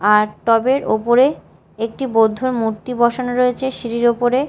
আর টব -এর ওপরে একটি বৌদ্ধর মূর্তি বসানো রয়েছে সিঁড়ির ওপরে।